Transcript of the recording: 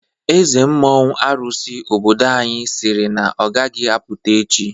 Eze mmụọ arụsị obodo anyị siri na ọgaghi apụta echi.